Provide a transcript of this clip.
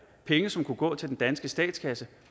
penge som kunne gå til den danske statskasse